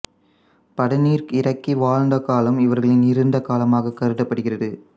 பதனீர் இறக்கி வாழ்ந்த காலம் இவர்களின் இருண்ட காலமாகக் கருதப்படுகிறது